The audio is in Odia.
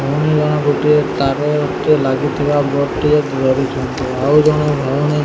ଭଉଣୀ ଜଣ ଗୋଟିଏ ତାରଟି ଲାଗୁଥିବା ବୋର୍ଡ଼ ଟିଏ ଧରିଛନ୍ତି ଆଉ ଜଣେ ଭଉଣୀ --